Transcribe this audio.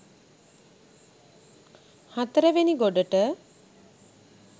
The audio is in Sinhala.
හතර වෙනි ගොඩට